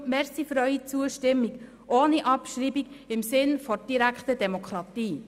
Deshalb danke ich Ihnen für Ihre Zustimmung ohne Abschreibung, im Sinne der direkten Demokratie.